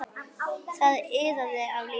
Það iðaði af lífi.